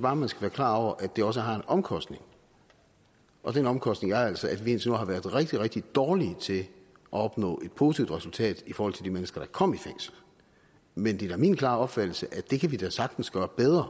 bare man skal være klar over at det også har en omkostning og den omkostning er altså at vi indtil nu har været rigtig rigtig dårlige til at opnå et positivt resultat i forhold til de mennesker der er kommet i fængsel men det er da min klare opfattelse at det kan vi da sagtens gøre bedre